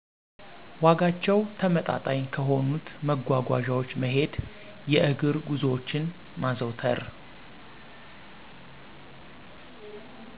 ዋጋቸው ተመጣጣኝ ከሆኑት መጓጓዣወች መሄድ የእግር ጉዞወችን ማዘውተር